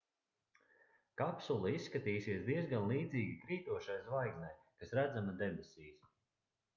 kapsula izskatīsies diezgan līdzīga krītošai zvaigznei kas redzama debesīs